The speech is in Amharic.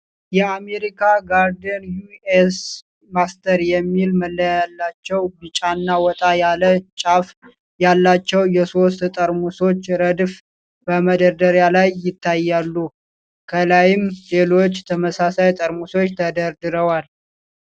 የአሜሪካን ጋርደን ዩ.ኤስ. ማስተርድ የሚል መለያ ያላቸው፣ ቢጫና ወጣ ያለ ጫፍ ያላቸው የሶስት ጠርሙሶች ረድፍ በመደርደሪያ ላይ ይታያሉ። ከላይም ሌሎች ተመሳሳይ ጠርሙሶች ተደርድረዋል።